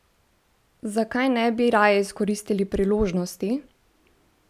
Zakaj ne bi raje izkoristili priložnosti?